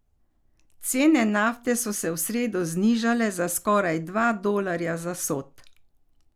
Cene nafte so se v sredo znižale za skoraj dva dolarja za sod.